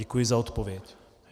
Děkuji za odpověď.